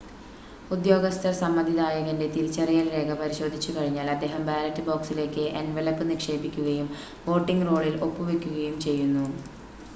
ഉദ്യോഗസ്ഥർ സമ്മതിദായകൻ്റെ തിരിച്ചറിയൽ രേഖ പരിശോധിച്ചു കഴിഞ്ഞാൽ അദ്ദേഹം ബാലറ്റ് ബോക്സിലേക്ക് എൻവലപ് നിക്ഷേപിക്കുകയും വോട്ടിംങ് റോളിൽ ഒപ്പ് വയ്ക്കുകയും ചെയ്യുന്നു